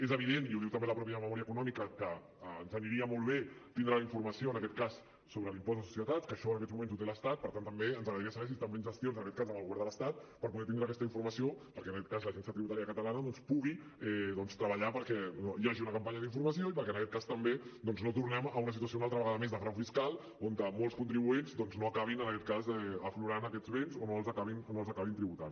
és evident i ho diu també la mateixa memòria econòmica que ens aniria molt bé tindre la informació sobre l’impost de societats que això en aquests moments ho té l’estat per tant també ens agradaria saber si estan fent gestions amb el govern de l’estat per poder tindre aquesta informació perquè l’agència tributària de catalunya doncs pugui treballar perquè hi hagi una campanya d’informació i perquè també no tornem a una situació una altra vegada més de frau fiscal on molts contribuents no acabin aflorant aquests béns o no els acabin tributant